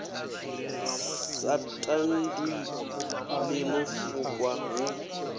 sa tandwi ḽino fukwa hu